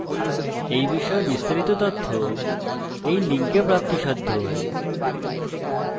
এই বিষয়ে বিস্তারিত তথ্য এই link প্রাপ্তিসাধ্য spoken hyphen tutorial dot org slash nmeict hyphen intro